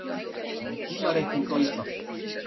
Um tímareikning á Íslandi.